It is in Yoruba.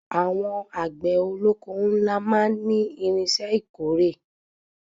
Àwọn àgbẹ̀ olóko ńlá máa ní irinṣẹ́ ìkórè.